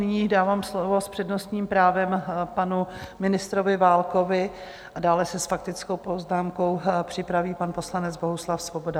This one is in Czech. Nyní dávám slovo s přednostním právem panu ministrovi Válkovi a dále se s faktickou poznámkou připraví pan poslanec Bohuslav Svoboda.